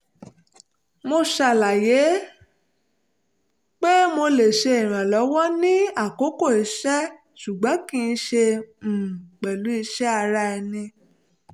mo ṣàlàyé pé mo lè ṣe ìrànlọ́wọ́ ní àkókò iṣẹ́ ṣùgbọ́n kì í ṣe um pẹ̀lú iṣẹ́ ti ara ẹni